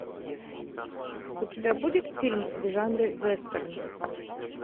у тебя будет фильм в жанре вестерн